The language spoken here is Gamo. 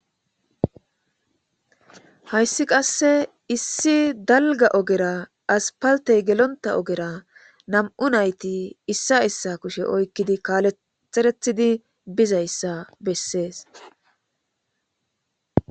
Hayssi qasse issi dalgga ogera asppalthee gelonththa ogera nam7u naythi issa issa kushe oykkidi kaalethereththidi bizayssa bessees.